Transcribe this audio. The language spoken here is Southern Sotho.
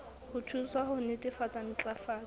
ho thuswa ho netefatsa ntlafatso